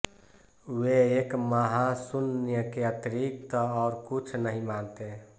वे एक महाशून्य के अतिरिक्त और कुछ नहीं मानते